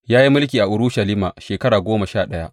Ya yi mulki a Urushalima shekara goma sha ɗaya.